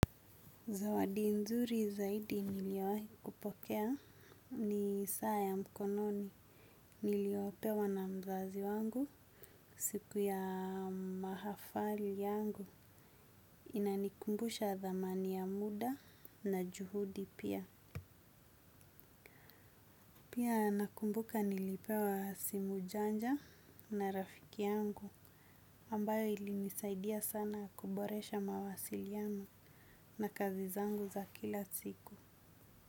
Zawadi nzuri zaidi niliyowahi kupokea ni saa ya mkononi niliopewa na mzazi wangu siku ya mahafali yangu inanikumbusha thamani ya muda na juhudi pia. Pia nakumbuka nilipewa simu janja na rafiki yangu ambayo ilinisaidia sana kuboresha mawasiliano na kazi zangu za kila siku.